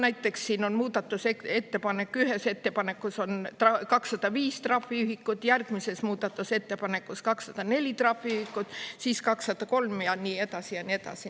Näiteks, siin on muudatusettepanek, ühes ettepanekus on 205 trahviühikut, järgmises muudatusettepanekus 204 trahviühikut, siis 203 ja nii edasi ja nii edasi.